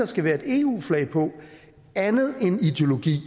skal være et eu flag på andet end ideologi